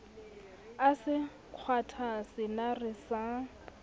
a se kgwatha senare sa